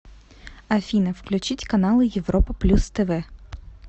афина включить каналы европа плюс тв